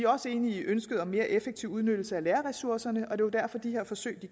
også enige i ønsket om mere effektiv udnyttelse af lærerressourcerne og det er jo derfor de her forsøg